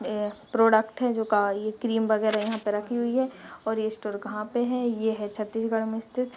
अ product है जो अ क्रीम वगेरा यहाँ पे रखी हुई है और ये स्टोर कहां पे है ये है छत्तीसगढ़ मे स्थित --